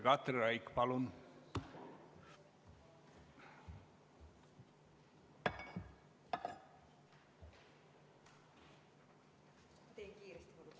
Katri Raik, palun!